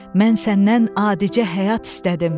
Mən səndən adicə həyat istədim.